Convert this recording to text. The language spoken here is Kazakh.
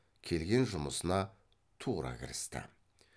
келген жұмысына тура кірісті